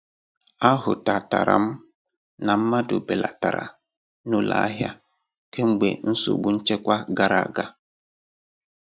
A hụtatara m na mmadụ belatara n'ụlọ ahia kemgbe nsogbu nchekwa gara aga.